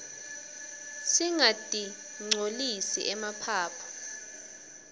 singatirqcolisi emaphaphu